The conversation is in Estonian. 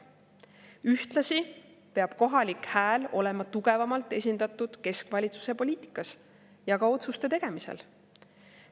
Ühtlasi peab kohalik hääl olema tugevamalt esindatud keskvalitsuse poliitikas ja ka otsuste tegemisel.